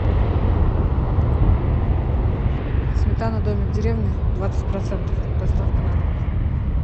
сметана домик в деревне двадцать процентов доставка на дом